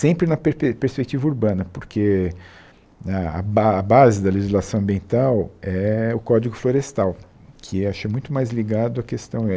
Sempre na perpe perspectiva urbana, porque a a ba a base da legislação ambiental é o Código Florestal, que é acho muito mais ligado à questão